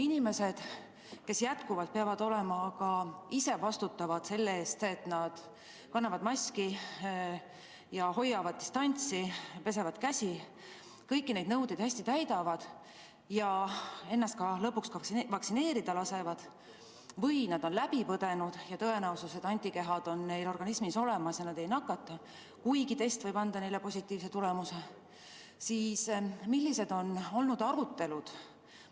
Arvestades seda, et inimesed peavad jätkuvalt ka ise vastutama selle eest, et nad kannavad maski, hoiavad distantsi, pesevad käsi, kõiki neid nõudeid täidavad, ja lõpuks lasevad ennast ka vaktsineerida või on nad selle haiguse läbi põdenud ja on tõenäoline, et antikehad on neil organismis olemas ja nad ei nakatu, kuigi test võib anda positiivse tulemuse, siis millised on olnud arutelud?